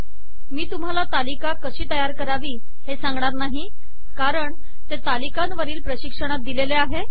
मी तुम्हाला तालिका कशी तयार करावी हे सांगणार नाही कारण ते तालिकांवरील प्रशिक्षणात दिलेले आहे